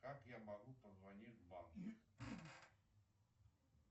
как я могу позвонить в банк